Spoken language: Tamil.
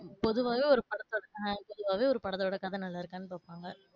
பொதுவாவே ஒரு படத்தோ ஆஹ் பொதுவாவே ஒரு படத்தோட கதை நல்லா இருக்கானு பாப்பாங்க.